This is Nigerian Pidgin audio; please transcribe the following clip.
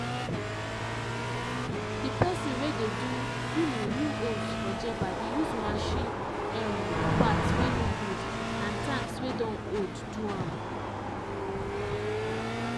the person wey dey do um new hoes for jebba dey use machine um parts wey no good and tanks wey don old do am